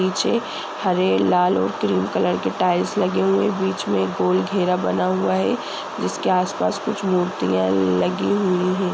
पीछे हरे लाल और क्रीम कलर का टाइल्स लगी हुई है बीच में गोल घेरा बना हुआ है जिसके आस पास कुछ मुर्तियॉ लगी हुई है।